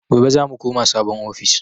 Gobe zamu koma sabon ofis